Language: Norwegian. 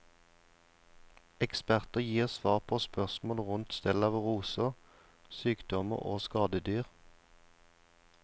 Eksperter gir svar på spørsmål rundt stell av roser, sykdommer og skadedyr.